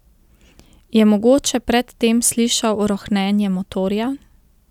Je mogoče pred tem slišal rohnenje motorja?